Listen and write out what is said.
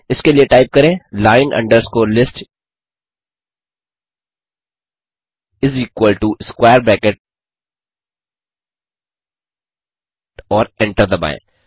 इसके लिए टाइप करें line underscore list is equal to square bracket और एंटर दबाएँ